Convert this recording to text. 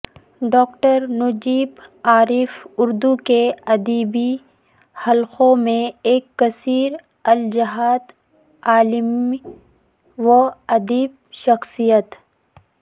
doctor Najiba Arif Urdu کے ادبی حلقوں میں ایک کثیر الجہت علمی و ادبی شخصیت